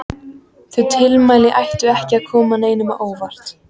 Þau tilmæli ættu ekki að koma neinum á óvart.